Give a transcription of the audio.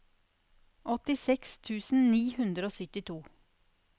åttiseks tusen ni hundre og syttito